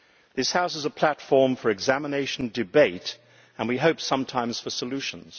This House is a platform for examination, for debate and we hope sometimes for solutions.